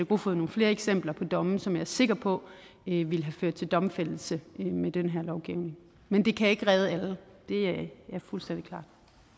kofod nogle flere eksempler på domme som jeg er sikker på ville ville have ført til domfældelse med den her lovgivning men det kan ikke redde alle det er fuldstændig klart